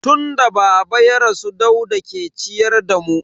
Tun da baba ya rasu Dauda ke ciyar da mu.